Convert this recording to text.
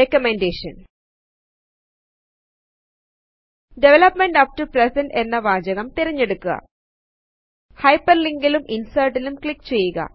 recommendation development up to present എന്ന വാചകം തിരഞ്ഞെടുകുക് ഹൈപെർലിങ്കിലും ഇൻസെർറ്റിലും ക്ലിക് ചെയ്യുക